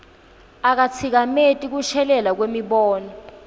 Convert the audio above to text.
akatsikameti kushelela kwemibono